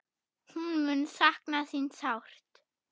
Hún mun sakna þín sárt.